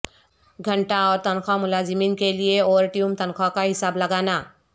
گھنٹہ اور تنخواہ ملازمین کے لئے اوورٹیوم تنخواہ کا حساب لگانا